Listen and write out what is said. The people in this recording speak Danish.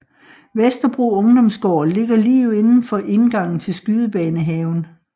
Vesterbro Ungdomsgård ligger lige indenfor indgangen til Skydebanehaven